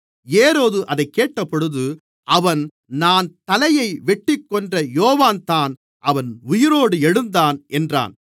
ஏரோது அதைக் கேட்டபொழுது அவன் நான் தலையை வெட்டிக்கொன்ற யோவான்தான் அவன் உயிரோடு எழுந்தான் என்றான்